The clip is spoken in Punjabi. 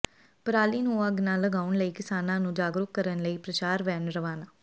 ਪਰਾਲੀ ਨੂੰ ਅੱਗ ਨਾ ਲਗਾਉਣ ਲਈ ਕਿਸਾਨਾਂ ਨੂੰ ਜਾਗਰੂਕ ਕਰਨ ਲਈ ਪ੍ਰਚਾਰ ਵੈਨ ਰਵਾਨਾ